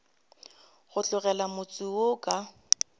go tlogela motse wo ka